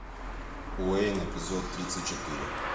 уэйн эпизод тридцать четыре